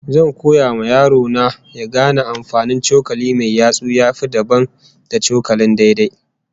Zan koya wa yaro na ya gane amfanin cokali mai yatsu ya yi dabam da cokalin daidai